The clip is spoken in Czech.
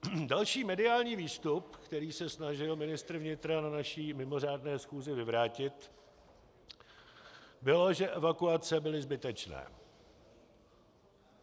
Další mediální výstup, který se snažil ministr vnitra na naší mimořádné schůzi vyvrátit, bylo, že evakuace byly zbytečné.